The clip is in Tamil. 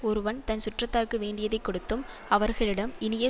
ஒருவன் தன் சுற்றத்தார்க்கு வேண்டியதை கொடுத்தும் அவர்களிடம் இனிய